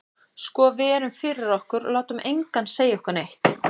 Sko við erum fyrir okkur, og látum engan segja okkur neitt.